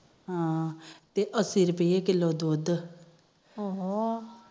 ਹਮ ਤੇ ਅੱਸੀ ਰੁਪੀਏ ਕਿਲੋ ਦੁਧ ਉਹੋ